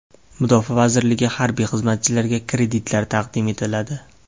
Mudofaa vazirligi harbiy xizmatchilariga kreditlar taqdim etiladi .